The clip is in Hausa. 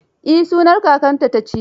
Eh, sunan kakarta ta ci.